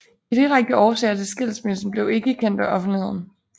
De direkte årsager til skilsmissen blev ikke kendt af offentligheden